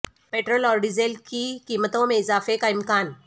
petrol اور diesel کی قیمتوں میں اضافے کا امکان